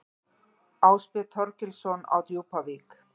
Ásbjörn Þorgilsson á Djúpavík